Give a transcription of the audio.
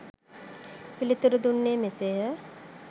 පිළිතුරු දුන්නේ මෙසේය.